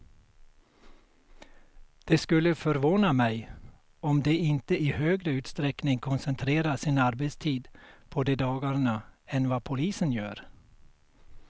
Det skulle förvåna mig om de inte i högre utsträckning koncentrerar sin arbetstid på de dagarna än vad polisen gör.